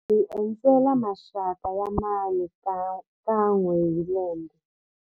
Hi endzela maxaka ya mhani kan'we hi lembe.